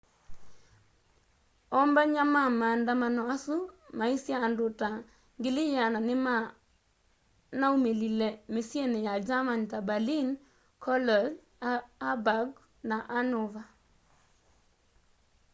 ombany'a ma maandamano asu maisye andu ta 100,000 nimanaumilile misyini ya german ta berlin cologne hamburg na hanover